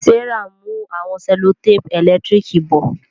Serah n mú àwọn sellotape elekitiriki bo.